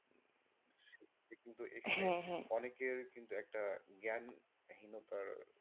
এটা কিন্তু হ্যাঁ হ্যাঁ এটা কিন্তু অনেকের কিন্তু একটা জ্ঞান হীনতায়,